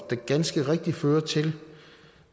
der ganske rigtigt fører til